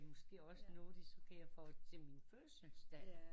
Det er noget de supplerer for til min fødselsdag